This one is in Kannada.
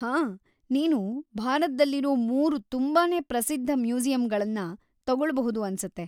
ಹಾ! ನೀನು ಭಾರತ್ದಲ್ಲಿರೋ ಮೂರು ತುಂಬಾನೇ ಪ್ರಸಿದ್ಧ ಮ್ಯೂಸಿಯಂಗಳನ್ನ ತಗೊಳ್ಬಹುದು ಅನ್ಸುತ್ತೆ.